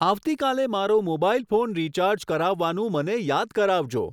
આવતી કાલે મારો મોબાઈલ ફોન રીચાર્જ કરાવવાનું મને યાદ કરાવજો.